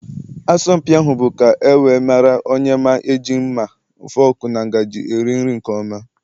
Asọmpi ahụ bụ ka e wee mara onye ma eji mma, fọọkụ na ngajị eri nri nke ọma.